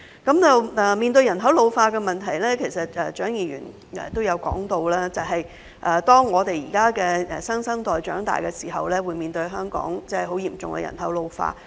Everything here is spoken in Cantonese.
關於人口老化問題，蔣議員也提到，當我們現在的新生代長大後，會面對香港嚴重人口老化的問題。